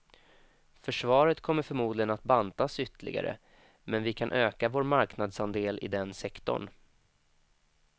Försvaret kommer förmodligen att bantas ytterligare, men vi kan öka vår marknadsandel i den sektorn.